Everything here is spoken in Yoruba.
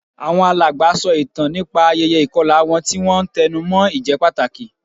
Àwọn alàgbà sọ ìtàn nípa ayẹyẹ ìkọlà wọn, tí wọ́n ń tẹnu mọ́ ìjẹ́pàtàkì